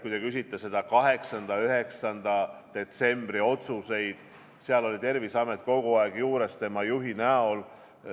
Kui te küsite konkreetselt 8. ja 9. detsembri otsuste kohta, siis seal oli Terviseamet kogu aeg juures tema juhi näol.